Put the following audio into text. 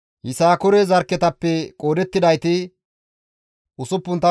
Yisakoore zarkketappe qoodettidayti 64,300 addeta.